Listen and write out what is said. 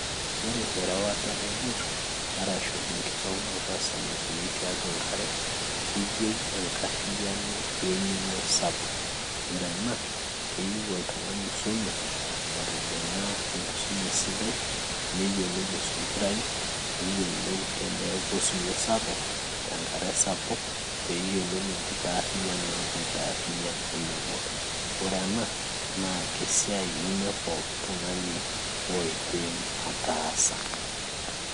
Ore erewata embot arashu enkitaunoto osamakini tiatua enkare, keyieu enkarriyiano weng'eno sapuk ore ena keyieu oltung'ani oisume otijing'a enkisuma esidai neyiolou aisompirayu neyiolou teneeku osiwuo sapuk tenkare sapuk peyiolou enkitarriyiano naitarriyian ina boat ore ena naa kesiai nemepooki tung'ani oidim ataasa.